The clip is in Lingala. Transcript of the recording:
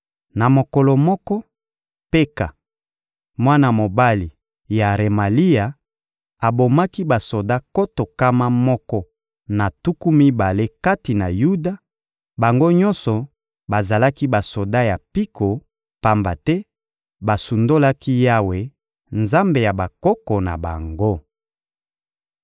Na mokolo moko, Peka, mwana mobali ya Remalia, abomaki basoda nkoto nkama moko na tuku mibale kati na Yuda, bango nyonso bazalaki basoda ya mpiko; pamba te basundolaki Yawe, Nzambe ya bakoko na bango.